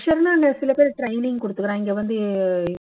சில பேர் training கொடுத்துக்குறா இங்க வந்து